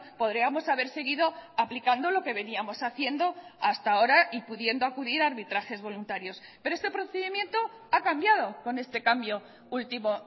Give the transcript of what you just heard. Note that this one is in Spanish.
podríamos haber seguido aplicando lo que veníamos haciendo hasta ahora y pudiendo acudir a arbitrajes voluntarios pero este procedimiento ha cambiado con este cambio último